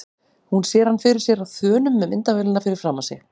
Hún sér hann fyrir sér á þönum með myndavélina fyrir framan sig.